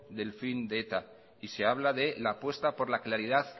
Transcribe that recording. del fin de eta y se habla de la apuesta por la claridad